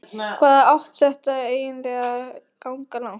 Hvað átti þetta eiginlega að ganga langt?